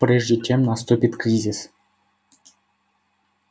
прежде чем наступит кризис